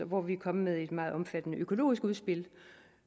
hvor vi er kommet med et meget omfattende økologisk udspil